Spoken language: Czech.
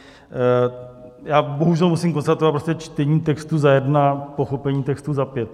Já bohužel musím konstatovat - čtení textu za jedna, pochopení textu za pět.